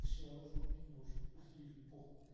точнее она же убить может ей же похуй